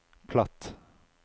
platt